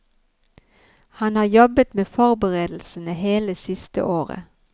Han har jobbet med forberedelsene hele siste året.